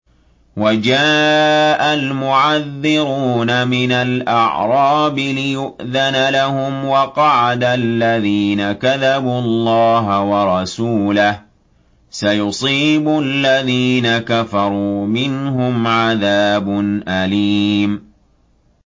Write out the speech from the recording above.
وَجَاءَ الْمُعَذِّرُونَ مِنَ الْأَعْرَابِ لِيُؤْذَنَ لَهُمْ وَقَعَدَ الَّذِينَ كَذَبُوا اللَّهَ وَرَسُولَهُ ۚ سَيُصِيبُ الَّذِينَ كَفَرُوا مِنْهُمْ عَذَابٌ أَلِيمٌ